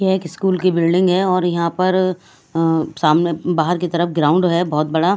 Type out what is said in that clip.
यह एक स्कूल की बिल्डिंग है और यहां पर अह सामने बाहर की तरफ ग्राउंड है बहुत बड़ा।